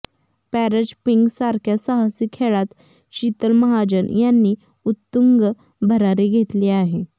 para jumping सारख्या साहसी खेळात शीतल महाजन यांनी उत्तुंग भरारी घेतली आहे